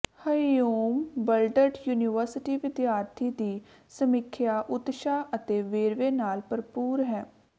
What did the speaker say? Humboldt university ਵਿਦਿਆਰਥੀ ਦੀ ਸਮੀਖਿਆ ਉਤਸ਼ਾਹ ਅਤੇ ਵੇਰਵੇ ਨਾਲ ਭਰਪੂਰ ਹੈ